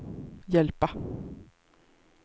hjälpa